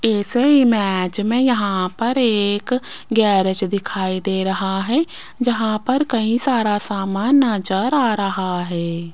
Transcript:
इस इमेज में यहां पर एक गैरेज दिखाई दे रहा है जहां पर कई सारा सामान नजर आ रहा है।